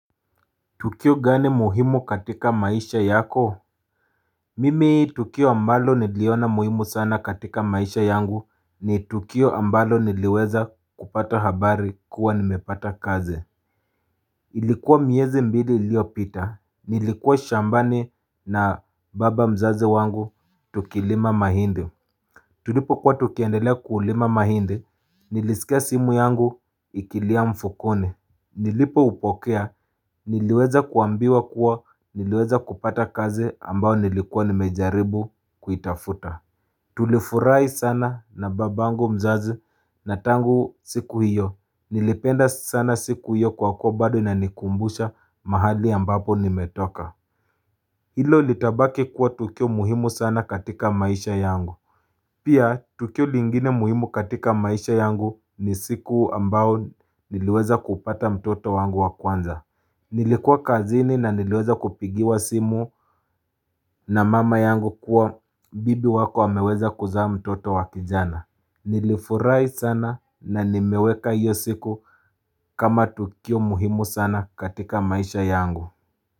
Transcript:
Tukio gani muhimu katika maisha yako? Mimi tukio ambalo niliona muhimu sana katika maisha yangu ni tukio ambalo niliweza kupata habari kuwa nimepata kazi. Ilikuwa miezi mbili iliyopita, nilikuwa shambani na baba mzazi wangu tukilima mahindi. Tulipokuwa tukiendelea kulima mahindi, nilisikia simu yangu ikilia mfukoni. Nilipoupokea niliweza kuambiwa kuwa niliweza kupata kazi ambayo nilikuwa nimejaribu kuitafuta Tulifurahi sana na babangu mzazi na tangu siku hiyo nilipenda sana siku hiyo kwa kuwa bado inanikumbusha mahali ambapo nimetoka Hilo litabaki kuwa tukio muhimu sana katika maisha yangu Pia tukio lingine muhimu katika maisha yangu ni siku ambayo niliweza kupata mtoto wangu wakwanza Nilikuwa kazini na niliweza kupigiwa simu na mama yangu kuwa bibi wako wameweza kuzaa mtoto wa kijana Nilifurahi sana na nimeweka hiyo siku kama tukio muhimu sana katika maisha yangu.